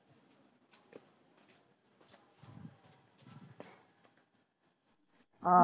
ਆਹੋ